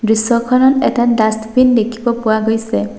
দৃশ্যখনত এটা ডাছবিন দেখিব পোৱা গৈছে।